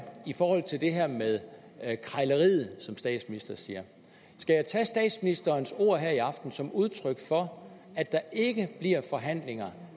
i forhold til det her med krejleriet som statsministeren siger skal jeg tage statsministerens ord her i aften som udtryk for at der ikke bliver forhandlinger